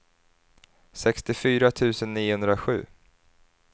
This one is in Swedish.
sextiofyra tusen niohundrasju